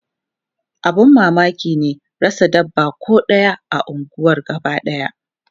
Abun mamaki ne rasa dabba ko ɗaya a unguwar gabadaya.